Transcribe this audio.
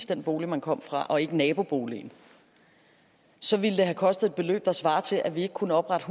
den bolig man kom fra og ikke få naboboligen så ville det have kostet et beløb der svarer til at vi ikke kunne oprette